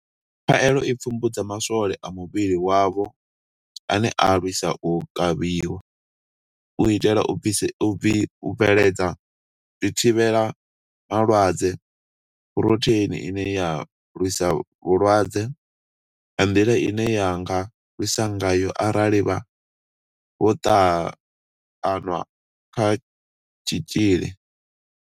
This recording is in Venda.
Khaelo i pfumbudza ma swole a muvhili wavho ane a lwisa u kavhiwa, u itela u bveledza zwithivhela malwadze Phurotheini ine ya lwisa vhulwadze nga nḓila ine ya nga lwisa ngayo arali vho ṱanwa kha tshitzhili.